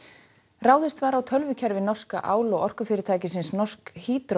ráðist var á tölvukerfi norska ál og orkufyrirtækisins Norsk